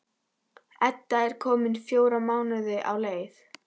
Edda er komin fjóra mánuði á leið.